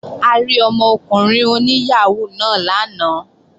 A rí ọmọkùnrin oní yàhóó náà lánàá